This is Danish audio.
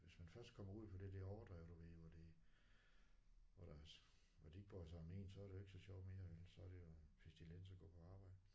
Hvis man først kommer ud for det der overdrev du ved hvor det hvor der hvor de ikke bryder som om én så er det jo ikke så sjovt mere vel så er det jo en pestilens at gå på arbejde